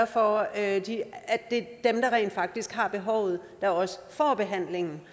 for at det er dem der rent faktisk har behovet der også får behandlingen